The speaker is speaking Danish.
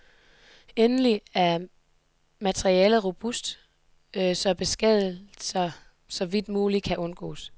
Endelig er materialet robust, så beskadigelser så vidt muligt kan undgås.